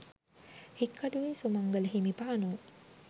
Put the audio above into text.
Hikkaduwe Sumangala හිමිපාණෝ